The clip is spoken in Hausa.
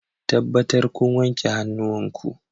Tabbatar kun wanke hannuwanku